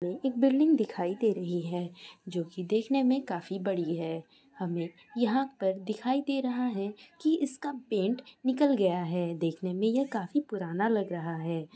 --मे एक बिल्डिंग दिखाई दे रही है। जोकि देखने मे काफी बड़ी है। हमे यहां पर दिखाई दे रहा है की इसका पैंट निकल गया है। देखने मे ये काफी पुराना लग रहा है।